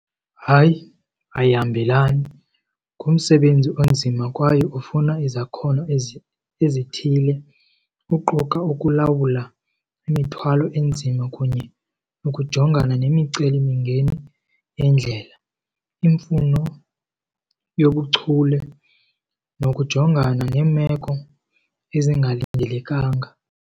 Hayi, ayihambelani. Ngumsebenzi onzima kwaye ufuna izakhono ezi ezithile kuquka ukulawula imithwalo enzima kunye nokujongana nemicelimingeni yendlela, imfuno yobuchule nokujongana neemeko ezingalindelekanga.